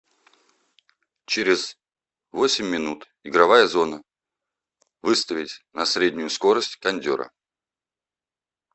через восемь минут игровая зона выставить на среднюю скорость кондера